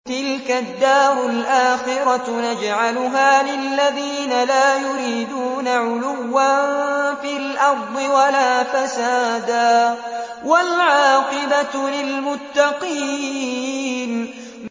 تِلْكَ الدَّارُ الْآخِرَةُ نَجْعَلُهَا لِلَّذِينَ لَا يُرِيدُونَ عُلُوًّا فِي الْأَرْضِ وَلَا فَسَادًا ۚ وَالْعَاقِبَةُ لِلْمُتَّقِينَ